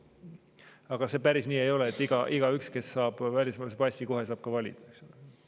Aga see päris nii ei ole, et igaüks, kes saab välismaalase passi, saab kohe ka valida, eks ole.